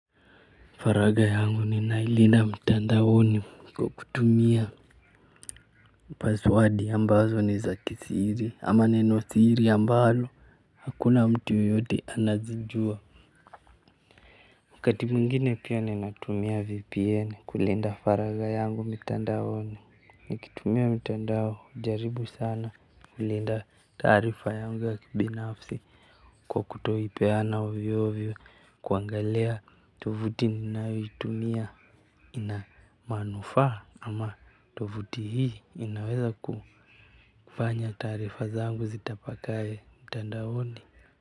Faragha yangu ninailinda mtandaoni kwa kutumia paswadi ambazo ni za kisiri ama nenosiri ambalo hakuna mtu yoyote anazijua. Wakati mwingine pia ninatumia vpn kulinda faragha yangu mitandaoni. Nikitumia mitandao hujaribu sana kulinda taarifa yangu ya kibinafsi kwa kutoipeana ovyo ovyo. Kuangalia tovuti ninayoitumia. Na manufaa ama tovuti hii inaweza kufanya taarifa zangu zitapakae mtandaoni.